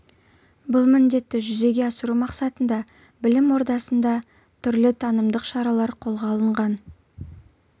бұл міндетті жүзеге асыру мақсатында білім ордасында түрлі танымдық шаралар қолға алынған